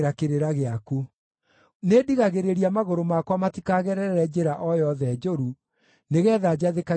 Nĩndigagĩrĩria magũrũ makwa matikagerere njĩra o yothe njũru, nĩgeetha njathĩkagĩre kiugo gĩaku.